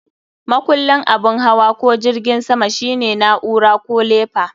Makullin abin hawa ko jirgin sama shine na'ura ko lefa.